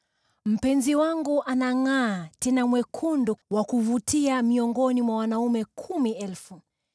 Mpenzi wangu anangʼaa, tena ni mwekundu, wa kuvutia miongoni mwa wanaume kumi elfu.